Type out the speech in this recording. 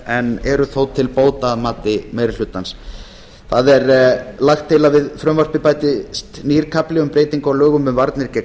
en eru þó til bóta að mati meiri hlutans lagt er til að við frumvarpið bætist nýr kafli um breytingu á lögum um varnir gegn